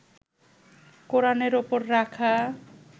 কোরানের ওপর রাখা